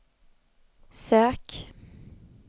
sök